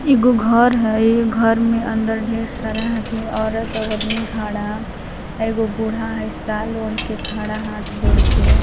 एगो घर हइ घर में अंदर ढेर सारा हथी औरत और आदमी खड़ा एगो बुढ़ा हइ साल ओढ़ के खड़ा हाथ जोड़ के --